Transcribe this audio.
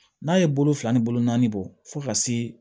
N'a ye bolo fila ni bolo naani bɔ fo ka se